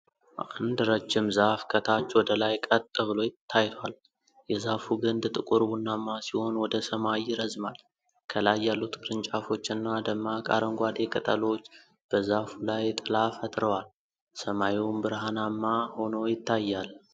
አንድ ረጅም ዛፍ ከታች ወደ ላይ ቀጥ ብሎ ታይቷል። የዛፉ ግንድ ጥቁር ቡናማ ሲሆን ወደ ሰማይ ይረዝማል። ከላይ ያሉት ቅርንጫፎችና ደማቅ አረንጓዴ ቅጠሎች በዛፉ ላይ ጥላ ፈጥረዋል፤ ሰማዩም ብርሃናማ ሆኖ ይታያል።